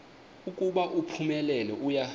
ukuba uphumelele uya